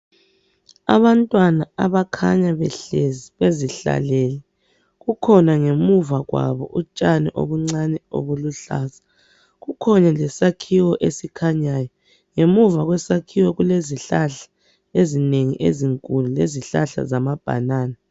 Abantwana abakhanya behlezi bezihlalele kukhona ngemuva kwabo utshani obuncane obuluhlaza kukhona lesakhiwo esikhanyayo ngemuva kwesakhiwo kule zihlahla ezinengi ezinkulu lezihlahla zama "banana".